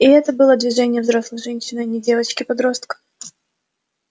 и это было движение взрослой женщины а не девочки-подростка